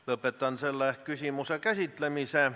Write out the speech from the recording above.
Lõpetan selle küsimuse käsitlemise.